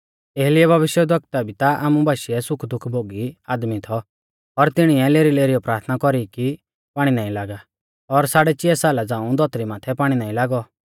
एलियाह भविष्यवक्ता भी ता आमु बाशीऐ सुखदुख भोगी आदमी थौ और तिणीऐ लेरीलेरीयौ प्राथना कौरी कि पाणी नाईं लागा और साड़ै चिया साला झ़ांऊ धौतरी माथै पाणी नाईं लागौ